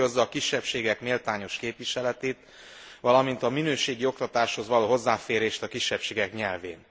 Hangsúlyozza a kisebbségek méltányos képviseletét, valamint a minőségi oktatáshoz való hozzáférést a kisebbségek nyelvén.